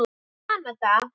í Kanada.